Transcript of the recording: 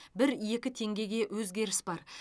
бір екі теңгеге өзгеріс бар